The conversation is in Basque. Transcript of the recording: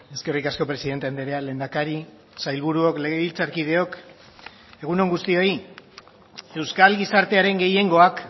eskerrik asko presidente andrea lehendakari sailburuok legebiltzarkideok egun on guztioi euskal gizartearen gehiengoak